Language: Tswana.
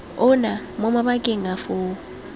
ona mo mabakeng a foo